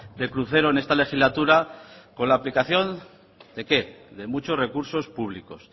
de crucero en esta legislatura con la aplicación de qué de muchos recursos públicos